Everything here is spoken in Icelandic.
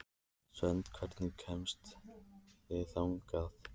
Svend, hvernig kemst ég þangað?